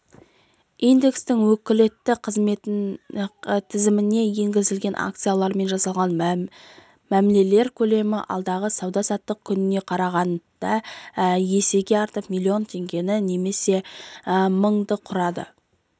индекстің өкілетті тізіміне енгізілген акциялармен жасалған мәмілелер көлемі алдыңғы сауда-саттық күніне қарағанда есеге артып миллион теңгені немесе мыңды құрады